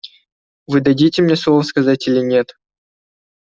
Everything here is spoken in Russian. вы дадите мне слово сказать или нет